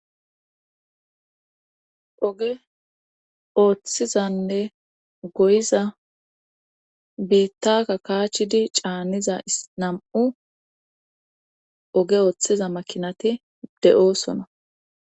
oge ooththizanne goyiza biittaka kaachidi caaniza nam''u oge ooththiza makinati de'oosona